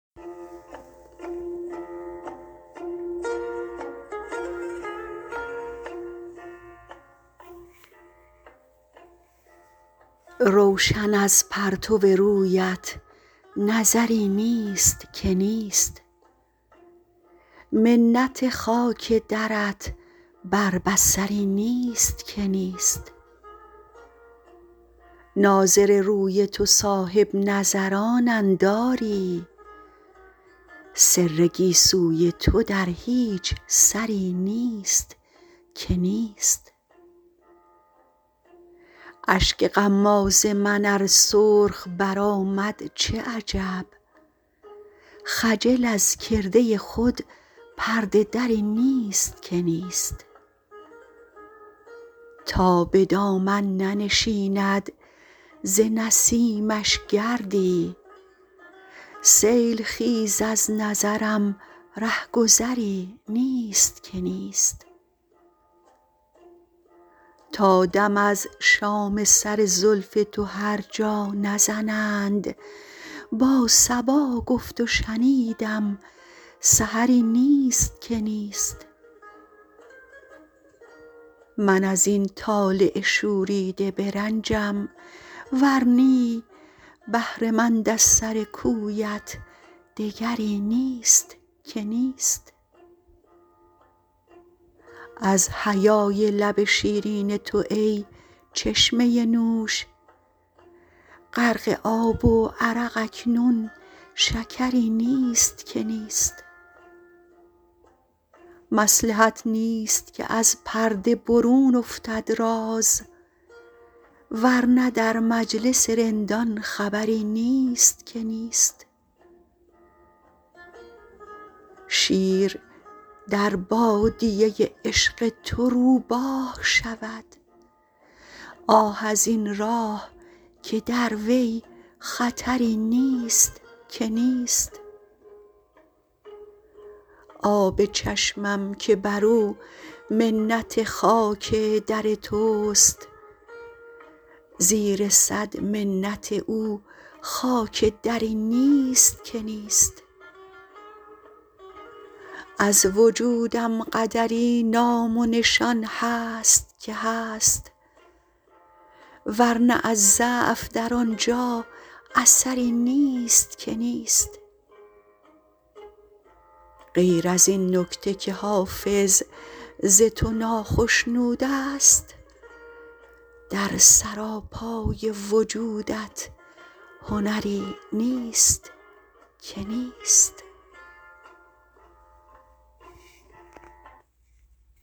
روشن از پرتو رویت نظری نیست که نیست منت خاک درت بر بصری نیست که نیست ناظر روی تو صاحب نظرانند آری سر گیسوی تو در هیچ سری نیست که نیست اشک غماز من ار سرخ برآمد چه عجب خجل از کرده خود پرده دری نیست که نیست تا به دامن ننشیند ز نسیمش گردی سیل خیز از نظرم ره گذری نیست که نیست تا دم از شام سر زلف تو هر جا نزنند با صبا گفت و شنیدم سحری نیست که نیست من از این طالع شوریده برنجم ور نی بهره مند از سر کویت دگری نیست که نیست از حیای لب شیرین تو ای چشمه نوش غرق آب و عرق اکنون شکری نیست که نیست مصلحت نیست که از پرده برون افتد راز ور نه در مجلس رندان خبری نیست که نیست شیر در بادیه عشق تو روباه شود آه از این راه که در وی خطری نیست که نیست آب چشمم که بر او منت خاک در توست زیر صد منت او خاک دری نیست که نیست از وجودم قدری نام و نشان هست که هست ور نه از ضعف در آن جا اثری نیست که نیست غیر از این نکته که حافظ ز تو ناخشنود است در سراپای وجودت هنری نیست که نیست